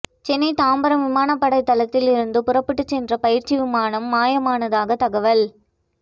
சென்னை தாம்பரம் விமானப்படை தளத்தில் இருந்து புறப்பட்டுச் சென்ற பயிற்சி விமானம் மாயமானதாக தகவல்